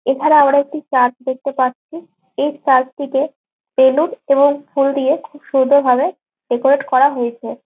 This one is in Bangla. এছাড়া আমরা একটি চার্চ দেখতে পাচ্ছি। এই চার্চ টিতে বেলুন এবং ফুল দিয়ে খুব সুন্দর ভাবে ডেকোরেট করা হয়েছে।